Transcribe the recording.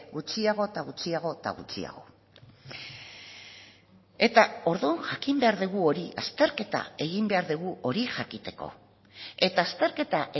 gutxiago eta gutxiago eta gutxiago eta orduan jakin behar dugu hori azterketa egin behar dugu hori jakiteko eta azterketa